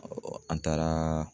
an taara